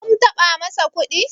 sum taɓa masa kuɗi?